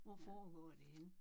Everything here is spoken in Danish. Hvor foregår det henne?